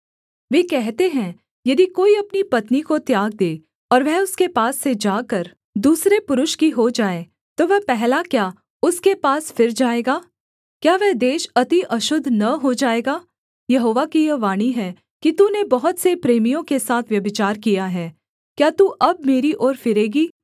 वे कहते हैं यदि कोई अपनी पत्नी को त्याग दे और वह उसके पास से जाकर दूसरे पुरुष की हो जाए तो वह पहला क्या उसके पास फिर जाएगा क्या वह देश अति अशुद्ध न हो जाएगा यहोवा की यह वाणी है कि तूने बहुत से प्रेमियों के साथ व्यभिचार किया है क्या तू अब मेरी ओर फिरेगी